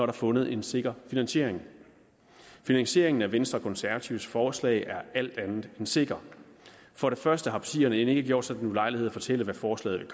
er fundet en sikker finansiering finansieringen af venstre og konservatives forslag er alt andet end sikker for det første har partierne end ikke gjort sig den ulejlighed at fortælle hvad forslaget